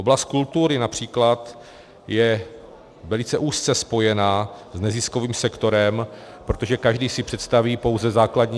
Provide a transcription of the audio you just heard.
Oblast kultury například je velice úzce spojena s neziskovým sektorem, protože každý si představí pouze základní...